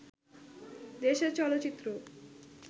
দেশের চলচ্চিত্র